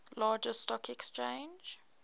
largest stock exchange